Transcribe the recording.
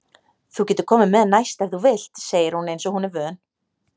Þú getur komið með næst ef þú vilt, segir hún einsog hún er vön.